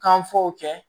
Kan fɔ kɛ